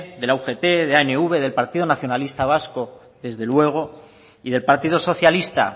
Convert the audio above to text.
de la ugt de anv del partido nacionalista vasco desde luego y del partido socialista